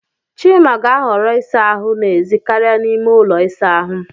Chima ga-ahọrọ ịsa ahụ n'èzí karịa n'ime ụlọ ịsa ahụ.